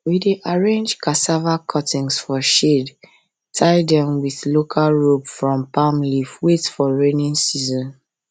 we dey arrange cassava cuttings for shade tie dem with local rope from palm leaf wait for rainy season